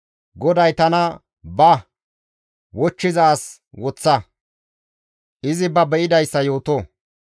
GODAY tana, «Ba; wochchiza as woththa; izi ba be7idayssa yooto.